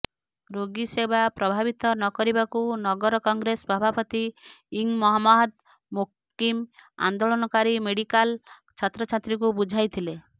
ରୋଗୀସେବା ପ୍ରଭାବିତ ନ କରିବାକୁ ନଗର କଂଗ୍ରେସ ସଭାପତି ଇଂ ମହମ୍ମଦ ମୋକିମ ଆନ୍ଦୋଳନକାରୀ ମେଡିକାଲ ଛାତ୍ରଛାତ୍ରୀଙ୍କୁ ବୁଝାଇଥିଲେ